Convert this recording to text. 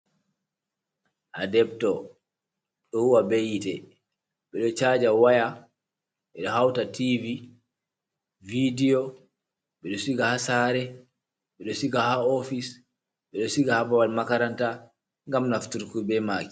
Adeptor: Ɗo huwa be yite, ɓeɗo chaja waya, ɓedo hauta tivi, vidio, ɓeɗo siga ha sare, ɓeɗo siga ha office, ɓeɗo siga ha babal makaranta ngam nafturki be maki.